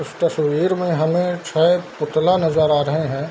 इस तस्वीर में हमें छ पुतला नजर आ रहे हैं।